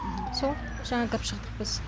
сол жаңа кіріп шықтық біз